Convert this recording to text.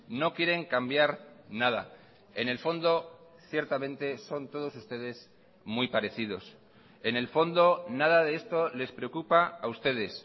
no quieren cambiar nada en el fondo ciertamente son todos ustedes muy parecidos en el fondo nada de esto les preocupa a ustedes